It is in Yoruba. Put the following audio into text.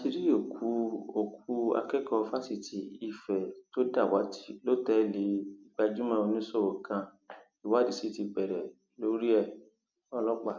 a ti rí òkú òkú akẹkọọ fásitì ife tó dàwátì lọtẹẹlì gbajúmọ oníṣòwò kan ìwádìí sì ti bẹrẹ lórí ẹọlọpàá